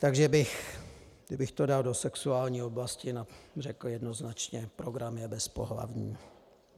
Takže kdybych to dal do sexuální oblasti, řekl bych jednoznačně: program je bezpohlavní.